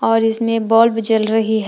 और इसमें बल्ब जल रही--